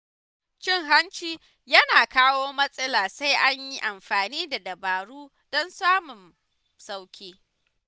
Cin hanci yana kawo matsala sai an yi amfani da dabaru don samun sauƙi.